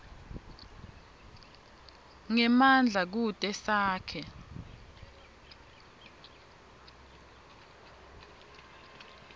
ngemandla kute sakhe